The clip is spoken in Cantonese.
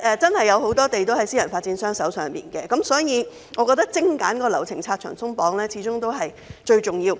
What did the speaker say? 由於有很多土地是由私人發展商擁有，所以我覺得精簡流程，拆牆鬆綁始終是最重要的。